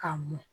K'a mɔ